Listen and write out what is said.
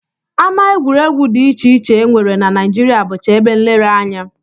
Ama egwuregwu dị iche iche e nwere na Naijiria bụcha ebe nlereanya